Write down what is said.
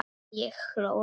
Ég hló lágt.